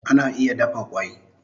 Egg can be boiled